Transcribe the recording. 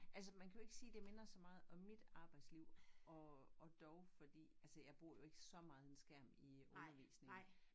Altså man kan jo ikke sige det minder så meget om mit arbejdsliv og og dog fordi altså jeg bruger jo ikke så meget en skærm i undervisningen